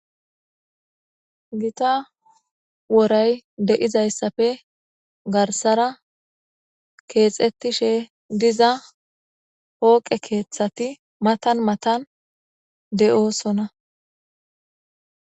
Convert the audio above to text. Gita woray dizaysappe garsara kexetishe diza pooqe kethat matan matan de7osona